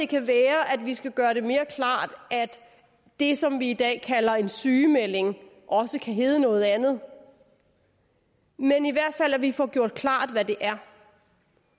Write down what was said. kan være at vi skal gøre det mere klart at det som vi i dag kalder en sygemelding også kan hedde noget andet men i hvert fald at vi får gjort klart hvad det er